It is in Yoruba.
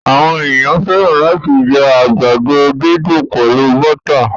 Àwọn ènìyàn fẹ́ràn làti jẹ àgbàdo didùn pẹlu bọ́tà